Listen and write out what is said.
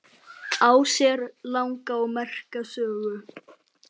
Á sér langa og merka sögu.